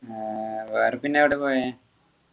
ആഹ് വേറെ പിന്നെ എവിടെയാ പോയെ